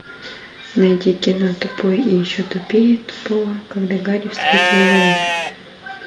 найди кино тупой и еще тупее тупого когда гарри встретил ллойда